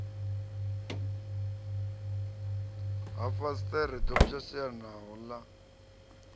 ha fasiṱere ḓo pwashekanaho ḽa